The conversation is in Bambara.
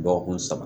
Dɔgɔkun saba